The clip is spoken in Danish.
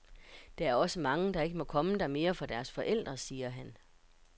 Der er også mange, der ikke må komme der mere for deres forældre, siger han.